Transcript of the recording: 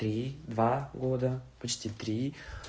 три два года почти три